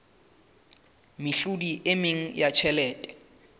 mehlodi e meng ya tjhelete